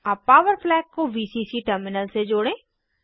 अब power flag को VCC terminal से जोड़ें